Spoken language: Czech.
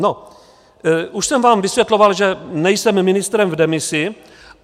No, už jsem vám vysvětloval, že nejsem ministrem v demisi.